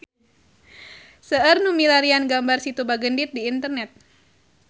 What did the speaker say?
Seueur nu milarian gambar Situ Bagendit di internet